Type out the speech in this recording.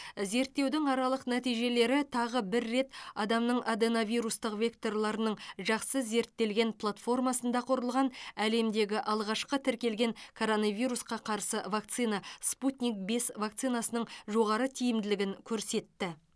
зерттеудің аралық нәтижелері тағы бір рет адамның аденовирустық векторларының жақсы зерттелген платформасында құрылған әлемдегі алғашқы тіркелген коронавирусқа қарсы вакцина спутник бес вакцинасының жоғары тиімділігін көрсетті